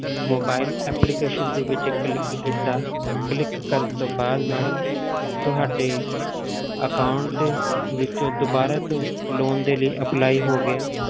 Mobile application ਦੇ ਵਿੱਚ click ਕੀਤਾ click ਕਰਨ ਤੋਂ ਬਾਅਦ madam ਤੁਹਾਡੇ account ਦੇ ਵਿੱਚੋਂ ਦੁਬਾਰਾ ਤੋਂ loan ਦੇ ਲਈ apply ਹੋ ਗਿਆ।